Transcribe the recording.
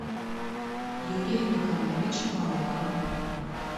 юрия николаевича малахова